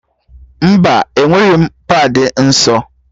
Mba, enweghị m paadị nsọ